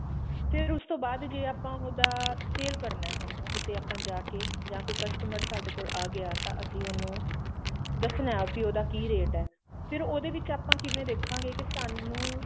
ਫੇਰ ਉਸ ਤੋਂ ਬਾਅਦ ਜੇ ਆਪਾਂ ਉਹਦਾ sale ਕਰਨਾ ਕਿਤੇ ਆਪਾਂ ਜਾਕੇ ਜਾ ਕੋਈ customer ਸਾਡੇ ਕੋਲ ਆ ਗਿਆ ਤਾਂ ਅਸੀਂ ਉਹਨੂੰ ਦੱਸਣਾ ਵੀ ਉਹਦਾ ਕਿ rate ਐ ਫੇਰ ਉਹਦੇ ਵਿੱਚ ਆਪਾਂ ਕਿਵੇਂ ਦੇਖਾਂਗੇ ਕੇ ਸਾਨੂੰ